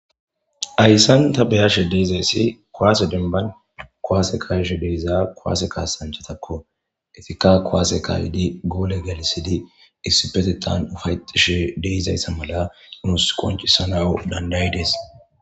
Hayssan ta beyashe deizayssi koaase denban kowaase kayshe deiza koaase kaasanchatakko efikka kowaase kaaydi goole galisidi issipetetan ufayexishe deizayssa mala imus qoncisanao dandayi danda'ides